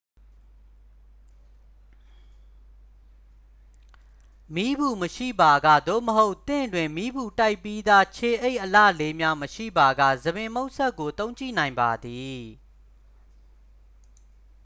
မီးပူမရှိပါက သို့မဟုတ် သင့်တွင် မီးပူတိုက်ပြီးသား ခြေအိပ်အလှလေးများ မရှိပါက ဆံပင်မှုတ်စက်ကို သုံးကြည့်နိုင်ပါသည်